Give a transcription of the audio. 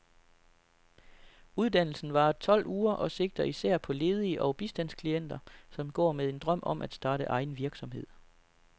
Uddannelsen varer tolv uger og sigter især på ledige og bistandsklienter, som går med en drøm om at starte egen virksomhed.